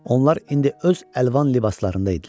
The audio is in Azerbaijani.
Onlar indi öz əlvan libaslarında idilər.